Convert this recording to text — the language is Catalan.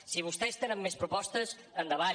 si vostès tenen més propostes endavant